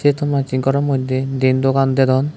tonmacche goro mojde diyen dogan dedon.